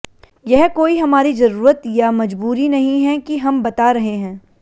यह कोई हमारी ज़रूरत या मजबूरी नहीं है कि हमबता रहे हैं